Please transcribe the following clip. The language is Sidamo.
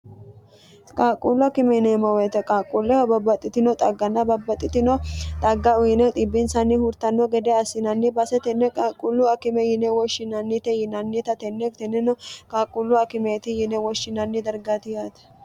qaaqquullu akime yineemmo woyiite qaaqquulleho babbaxxitino xagganna babbaxxitino xagga uyine xibbinsanni hurtanno gede assinanni base tenne qaaqquullu akime yine woshshinannite yinannita tenne tenneno qaaqquullu akimeeti yine woshshinanni dargati yaate.